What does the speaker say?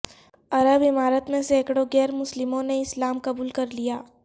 عر ب امارات میں سینکڑوں غیر مسلموں نے اسلام قبول کر لیا